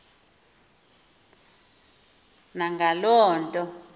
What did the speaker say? na ngaloo nto